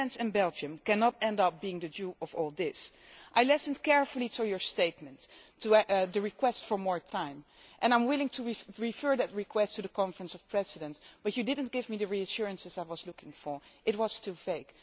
The Netherlands and Belgium cannot end up being the dupe' of all this. I listened carefully to your statements, to the request for more time, and I am willing to refer that request to the Conference of Presidents, but you did not give me the reassurances I was looking for it was too vague.